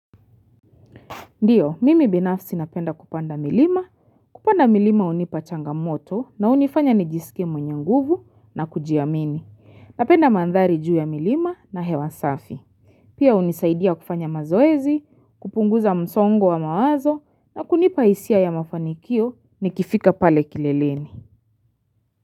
Ndiyo, mimi binafsi napenda kupanda milima. Kupanda milima unipa changamoto na unifanya nijisike mwenye nguvu na kujiamini. Napenda mandhari juu ya milima na hewa safi. Pia unisaidia kufanya mazoezi, kupunguza msongo wa mawazo na kunipa hisia ya mafanikio ni kifika pale kileleni.